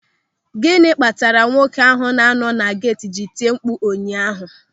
Gịnị kpatara nwoke ahụ na anọ na geeti ji etimkpu ụnyaahụ?